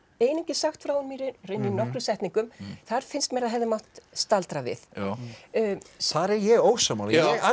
einungis sagt frá honum í nokkrum setningum þar finnst mér að hefði mátt staldra við þar er ég ósammála